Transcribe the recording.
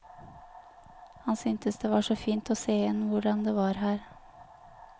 Han syntes det var så fint å se igjen hvordan det var her.